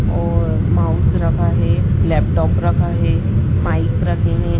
और माउस रखा है लैपटॉप रखा है माइक रखें हैं।